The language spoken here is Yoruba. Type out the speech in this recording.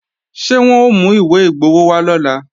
Ṣé wọ́n ó mú ìwé igbowó wá lọ́la